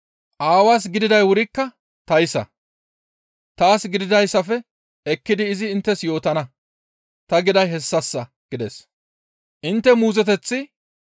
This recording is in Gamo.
Aawaas gididay wurikka tayssa, ‹Taas gididayssafe ekkidi izi inttes yootana› ta giday hessassa» gides.